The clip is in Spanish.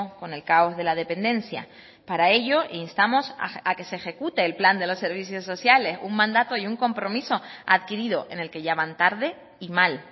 con el caos de la dependencia para ello instamos a que se ejecute el plan de los servicios sociales un mandato y un compromiso adquirido en el que ya van tarde y mal